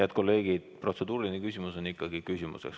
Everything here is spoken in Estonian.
Head kolleegid, protseduuriline küsimus on ikkagi küsimus.